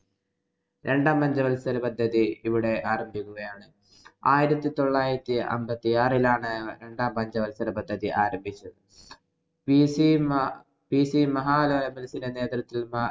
രണ്ടാം പഞ്ചവത്സരപദ്ധതി ഇവിടെ ആരംഭിക്കുകയാണ്. ആയിരത്തി തൊള്ളായിരത്തി അമ്പത്തി ആറിലാണ് രണ്ടാം പഞ്ചവത്സരപദ്ധതിആരംഭിച്ചത്. PC മഹ PC മഹലനോബിസിന്‍റെ നേതൃത്വത്തില്‍